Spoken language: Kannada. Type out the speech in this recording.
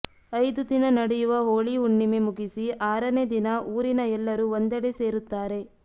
ಐದು ದಿನ ನಡೆಯುವ ಹೋಳಿ ಹುಣ್ಣಿಮೆ ಮುಗಿಸಿ ಆರನೇ ದಿನ ಊರಿನ ಎಲ್ಲರೂ ಒಂದೆಡೆ ಸೇರುತ್ತಾರೆ